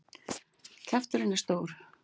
Kjafturinn er stór.